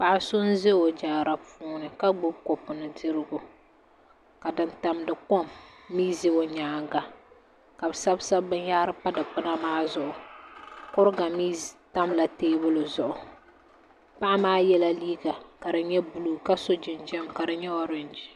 Paɣa so n bɛ o jaara puuni ka gbubi kopu ni dirigu ka din tamdi kom mii za o nyaanga ka bi sabisabi binyahari pa dikpuna maa zuɣu kuriga mii tamla teebuli maa zuɣu paɣa maa yɛla liiga ka di nyɛ buluu ka so jinjɛm ka di nyɛ oorenji